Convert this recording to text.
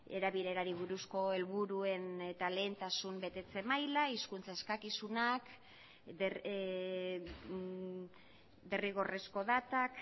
erabilerari buruzko helburuen eta lehentasun betetze maila hizkuntza eskakizunak derrigorrezko datak